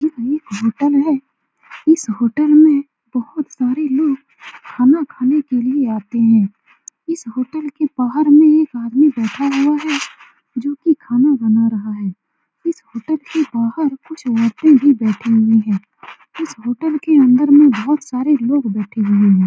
यह एक होटल है इस होटल में बहुत सारे लोग खाना खाने के लिए आते हैं इस होटल के बाहर में एक आदमी बैठा हुआ है जो की खाना बना रहा है इस होटल के बाहर कुछ औरते भी बैठी हुई हैं इस होटल के अन्दर में बहुत सारे लोग बैठे हुए हैं ।